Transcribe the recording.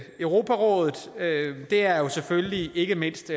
europarådet er jo selvfølgelig ikke mindst